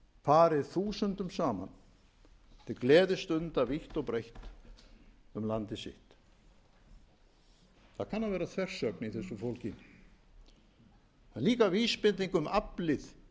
farið þúsundum saman til gleðistunda vítt og breitt um landið sitt það kann að vera þversögn í þessu fólgin en líka vísbending um aflið